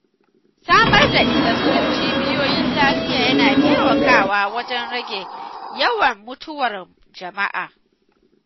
Samar da isassun cibiyoyin lafiya yana taimakawa wajen rage yawan mutuwar jama’a.